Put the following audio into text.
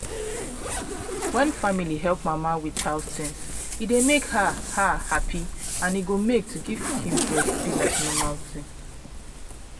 when family help mama with house things e dey make her her happy and e go make to give pikin breast be like normal tin